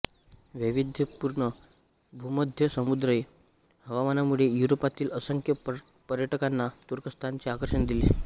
वैविध्यपूर्ण भूमध्यसमुद्रीय हवामानामुळे युरोपातील असंख्य पर्यटकांना तुर्कस्तानचे आकर्षण असते